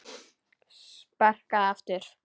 Sparkað aftur.